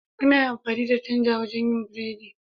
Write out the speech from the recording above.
Ana amfani da tanda wajen yin burodi.